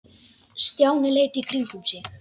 Stjáni leit í kringum sig.